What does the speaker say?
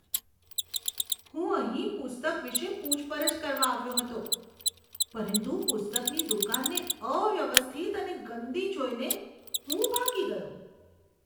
હું અહીં પુસ્તક વિશે પૂછપરછ કરવા આવ્યો હતો પરંતુ પુસ્તકની દુકાનને અવ્યવસ્થિત અને ગંદી જોઈને હું ભાગી ગયો.